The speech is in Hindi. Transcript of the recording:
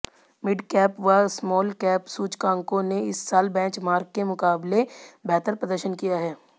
मिडकैप व स्मॉलकैप सूचकांकों ने इस साल बेंचमार्क के मुकाबले बेहतर प्रदर्शन किया है